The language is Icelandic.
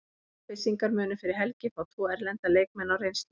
Selfyssingar munu fyrir helgi fá tvo erlenda leikmenn á reynslu.